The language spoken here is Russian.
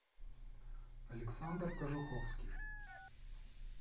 александр кожуховский